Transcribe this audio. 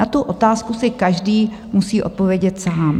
Na tu otázku si každý musí odpovědět sám.